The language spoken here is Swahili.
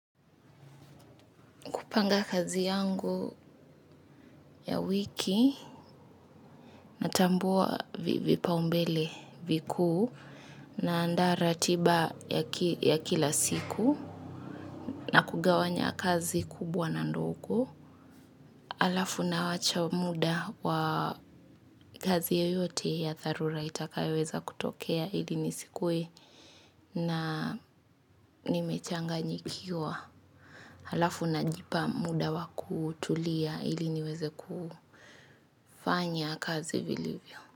Kupanga kazi yangu ya wiki, natambua vipaumbele vikuu, naandaa ratiba ya kila siku na kugawanya kazi kubwa na ndogo. Halafu nawacha muda wa kazi yoyote ya dharura itakayoweza kutokea ili nisikuwe na nimechanganyikiwa. Halafu najipa muda wa kutulia ili niweze kufanya kazi vilivyo.